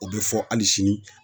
O be fɔ hali sini